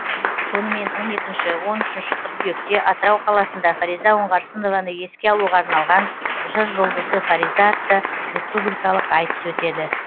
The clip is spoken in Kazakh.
сонымен он екінші он үшінші қыркүйекте атырау қаласында фариза оңғарсынованы еске алуға арналған жыр жұлдызы фариза атты республикалық айтыс өтеді